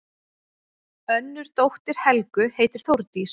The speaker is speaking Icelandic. Önnur dóttir Helgu heitir Þórdís.